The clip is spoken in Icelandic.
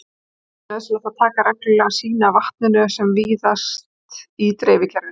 Því er nauðsynlegt að taka reglulega sýni af vatninu sem víðast í dreifikerfinu.